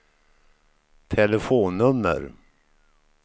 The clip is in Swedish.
telefonnummer